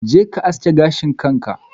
Je ka aske gashin ka!